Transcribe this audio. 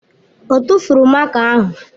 Ọ tụ́furu máká ahụ.